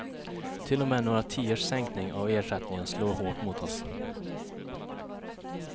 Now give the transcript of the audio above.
Till och med några tiors sänkning av ersättningen slår hårt mot oss.